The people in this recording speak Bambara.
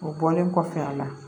O bɔlen kɔfɛ a la